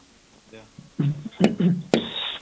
ਲਿਆ